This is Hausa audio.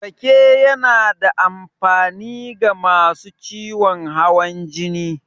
Rake yana da amfani ga masu ciwon hawan jini.